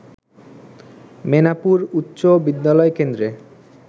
মেনাপুর উচ্চ বিদ্যালয় কেন্দ্রে